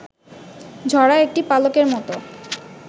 ঝরা একটি পালকের মত